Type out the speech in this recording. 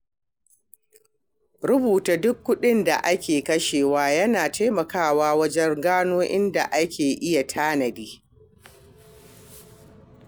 Rubuta duk kuɗin da ake kashewa yana taimakawa wajen gano inda ake iya tanadi.